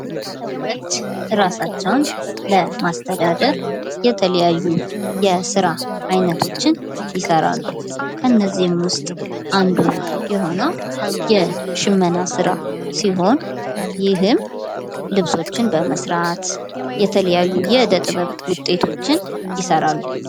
ሰዎች እርሳቸውን ለማስተዳደር የተለያዩ አይነት ስራዎችን ይሰራሉ። ከነዚህም ውስጥ አንዱ የሆነው የሽመና ስራ ሲሆን ይህም ልብሶችን በመስራት የተለያዩ የእደ ጥበብ ስራዎችን ይሰራሉ።